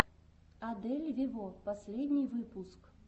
адель вево последний выпуск